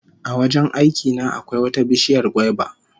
A wajen aiki na akwai wata bishiyar gwaiba